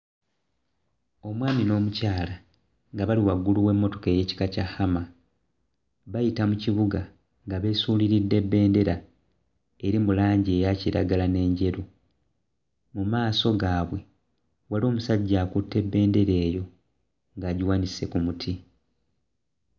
Omwami n'omukyala nga bali waggulu w'emmotoka ey'ekika kya Hummer bayita mu kibuga nga beesuuliridde bendera eri mu langi eya kiragala n'enjeru mu maaso gaabwe waliwo omusajja akutte bendera eyo ng'agiwanise ku muti.